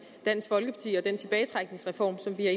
dansk folkeparti om og den tilbagetrækningsreform som vi har